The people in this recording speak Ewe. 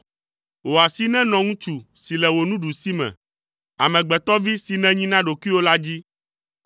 Wò asi nenɔ ŋutsu si le wò nuɖusime, amegbetɔvi si nènyi na ɖokuiwò la dzi.